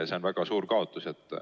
See on väga suur kaotus.